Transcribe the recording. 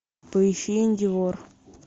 поищи индивор